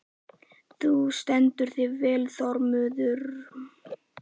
Þú stendur þig vel, Þormundur!